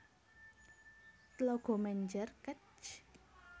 Tlaga Menjer Kec